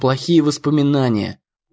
плохие воспоминания